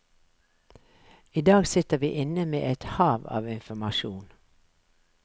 I dag sitter vi inne med et hav av informasjon.